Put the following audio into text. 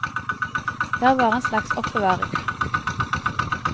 Det er bare en slags oppbevaring.